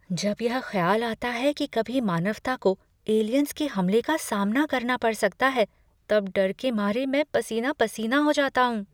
जब यह ख्याल आता है कि कभी मानवता को एलियंस के हमले का सामना करना पड़ सकता है तब डर के मारे मैं पसीना पसीना हो जाता हूँ।